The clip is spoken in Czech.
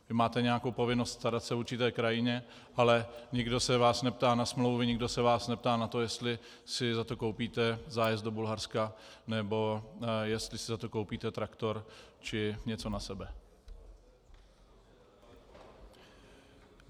Vy máte nějakou povinnost starat se o určitou krajinu, ale nikdo se vás neptá na smlouvy, nikdo se vás neptá na to, jestli si za to koupíte zájezd do Bulharska, nebo jestli si za to koupíte traktor, či něco na sebe.